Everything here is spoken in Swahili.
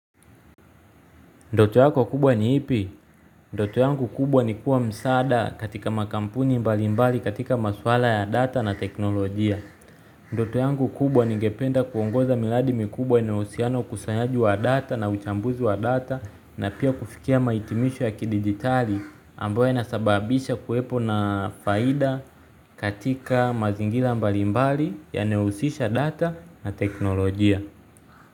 Ndoto yako kubwa ni ipi? Ndoto yangu kubwa ni kuwa msaada katika makampuni mbali mbali katika maswala ya data na teknolojia. Ndoto yangu kubwa ningependa kuongoza miradi mkubwa inayohusiana ukusanyaji wa data na uchambuzi wa data na pia kufikia mahitimisho ya kidijitali ambayo yanasababisha kuwepo na faida katika mazingira mbali mbali yanayohusisha data na teknolojia.